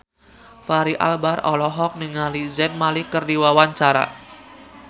Fachri Albar olohok ningali Zayn Malik keur diwawancara